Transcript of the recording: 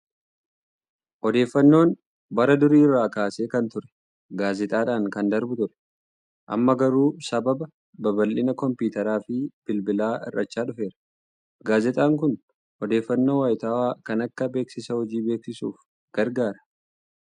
Odeeffannoon bara durii irraa kaasee kan ture gaazexaadhaan kan darbu ture. Amma garuu sababa babal'ina kompiitaraa fi bilbilaa hir'achaa dhufeera. Gaazexaan kun odeeffannoo wayitaawaa kan akka beeksisa hojii beeksisuuf gargaara.